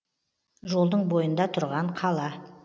жолдың бойында тұрған қала